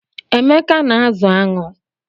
Emeka na-azụ aṅụ